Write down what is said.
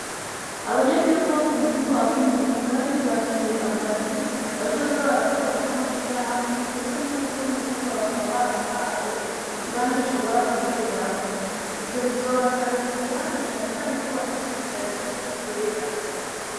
Abanyagihugu bo k'umutumba wa Kinyinya, bariyubakiye amazu, bazoza barakorerahamwe amashirahamwe, ndetse n'umukuru w'umutumba bakaba baramuhaye ikibanza ashobora gukoreramwo, ivyo bizobasahiriza, na cane cane ko bafise ibigazi biri mu kwera.